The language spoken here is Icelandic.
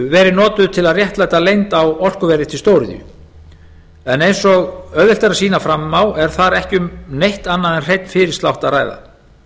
verið notuð til að réttlæta leynd á orkuverði til stóriðju en eins og auðvelt er að sýna fram á er þar ekki um neitt annað en hreinan fyrirslátt að ræða